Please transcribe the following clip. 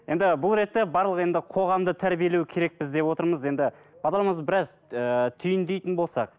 енді бұл ретте барлығы енді қоғамды тәрбиелеу керекпіз деп отырмыз енді бағдарламамызды біраз ііі түйіндейтін болсақ